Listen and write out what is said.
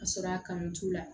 Ka sɔrɔ a kanu t'u la